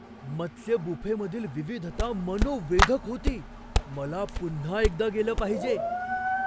मत्स्य बुफेमधील विविधता मनोवेधक होती! मला पुन्हा एकदा गेलं पाहिजे.